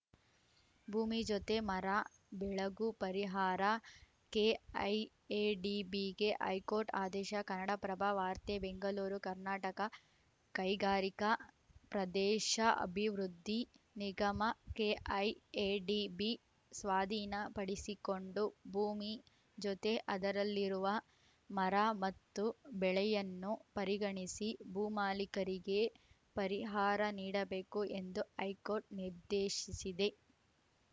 ಭೂಮಿ ಜೊತೆ ಮರ ಬೆಳೆಗೂ ಪರಿಹಾರ ಕೆಐಎಡಿಬಿಗೆ ಹೈಕೋರ್ಟ್‌ ಆದೇಶ ಕನ್ನಡಪ್ರಭ ವಾರ್ತೆ ಬೆಂಗಲೂರು ಕರ್ನಾಟಕ ಕೈಗಾರಿಕಾ ಪ್ರದೇಶ ಅಭಿವೃದ್ಧಿ ನಿಗಮ ಕೆಐಎಡಿಬಿ ಸ್ವಾಧೀನ ಪಡಿಸಿಕೊಂಡು ಭೂಮಿ ಜೊತೆ ಅದರಲ್ಲಿರುವ ಮರ ಮತ್ತು ಬೆಳೆಯನ್ನೂ ಪರಿಗಣಿಸಿ ಭೂಮಾಲಿಕರಿಗೆ ಪರಿಹಾರ ನೀಡಬೇಕು ಎಂದು ಹೈಕೋರ್ಟ್‌ ನಿರ್ದೇಶಿಸಿದೆ